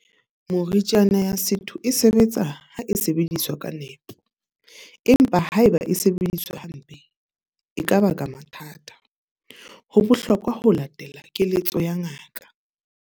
Moriana ya setho e sebetsa ha e sebediswa ka nepo. Empa haeba e sebediswa hampe, e ka ba ka mathata. Ho bohlokwa ho latela keletso ya ngaka.